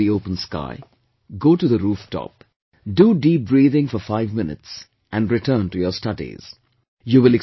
Just be under the open sky, go to the roof top, do deep breathing for five minutes and return to your studies